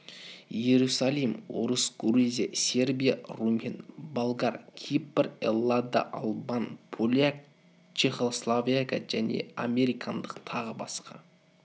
иерусалим орыс грузия сербия румен болгар кипр эллада албан поляк чехославак және американдық тағы басқа